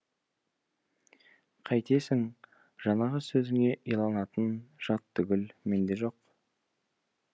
қайтесің жаңағы сөзіңе иланатын жат түгіл мен де жоқ